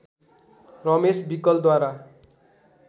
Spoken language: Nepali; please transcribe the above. रमेश विकलद्वारा